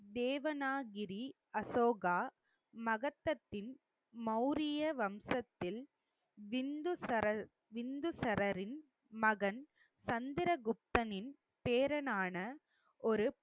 தேவனாகிரி, அசோகா மகதத்தின் மௌரிய வம்சத்தில் பிந்துசரல் பிந்துசாரரின் மகன் சந்திரகுப்தனின் பேரனான ஒரு